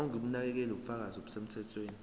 ongumnakekeli ubufakazi obusemthethweni